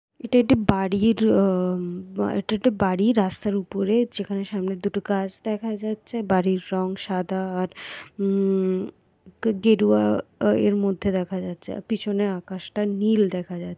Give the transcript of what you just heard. এটি একটি বাড়ির আ এটি একটি বাড়ির রাস্তার উপরে যেখানে সামনের দুটো গাছ দেখা যাচ্ছে। বাড়ির রং সাদা আর উম গেরুয়া আ এর মধ্যে দেখা যাচ্ছে আর পিছনে আকাশটাও নীল দেখা যা--